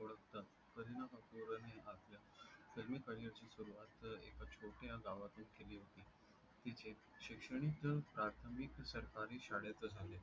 filmi career ची सुरवात एका छोट्या गावातून केली होती. तिचे शिक्षण प्राथमिक सरकारी शाळेत झाले.